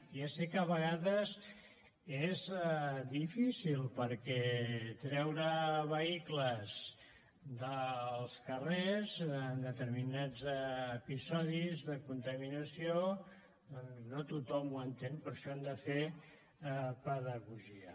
ja sé que a vegades és difícil perquè treure vehicles dels carrers en determinats episodis de contaminació doncs no tothom ho entén per això hem de fer pedagogia